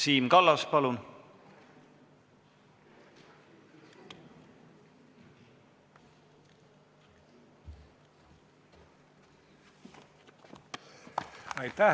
Siim Kallas, palun!